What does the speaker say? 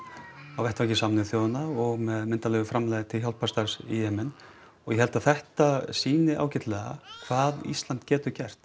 á vettvangi Sameinuðu þjóðanna og með myndarlegu framlagi til hjálparstarfs í Jemen og ég held að þetta sýni ágætlega hvað Ísland getur gert